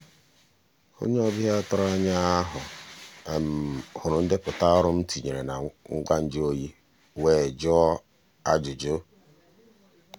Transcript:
onye ọbịa tụrụ anya ahu hụrụ ndepụta ọrụ m tinyere na ngwa nju oyi wee jụọ ajụjụ.